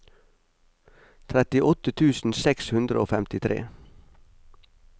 trettiåtte tusen seks hundre og femtitre